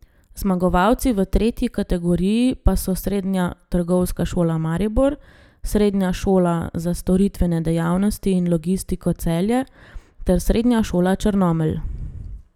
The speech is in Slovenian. Zmagovalci v tretji kategoriji pa so Srednja trgovska šola Maribor, Srednja šola za storitvene dejavnosti in logistiko Celje ter Srednja šola Črnomelj.